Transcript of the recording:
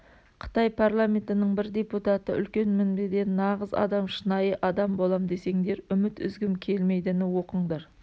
қытай парламентінің бір депутаты үлкен мінбеден нағыз адам шынайы адам болам десеңдер үміт үзгім келмейдініоқыңдар